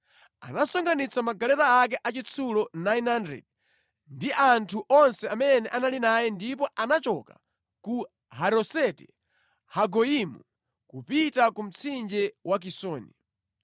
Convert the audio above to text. anasonkhanitsa magaleta ake achitsulo 900 ndi anthu onse amene anali naye ndipo anachoka ku Haroseti-Hagoyimu kupita ku mtsinje wa Kisoni.